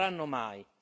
Non lo faranno mai,